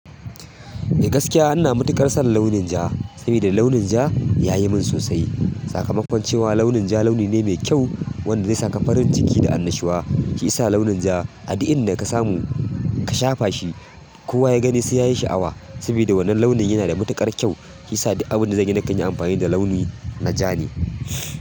Eh gaskiya ina matuƙar son launin ja, saboda launin ja yayi min sosai. Sakamakon cewa launin ja launi ne mai kyau wanda zai saka farin ciki da annashuwa. Shi isa launin ja a duk inda ka samu ka shafa shi, kowa ya gani sai yayi sha'awa. Sabida wannan launin yana da matuƙar kyau, shi yasa duk abin da zanyi nakan yi amfani da launi na ja ne.